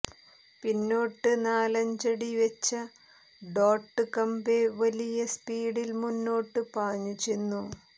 പിന്നോട്ട് നാലഞ്ചടിവെച്ച ഡോട്ട് കമ്പെ വലിയ സ്പീഡിൽ മുന്നോട്ട് പാഞ്ഞു ചെന്നു